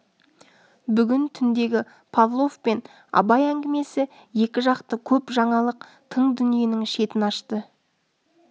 бүгін түндегі павлов пен абай әңгімесі екі жақты көп жаңалық тың дүниенің шетін ашты